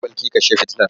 Ke Bilki kashe fitilar!